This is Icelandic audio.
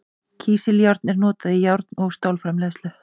Kísiljárn er notað í járn- og stálframleiðslu.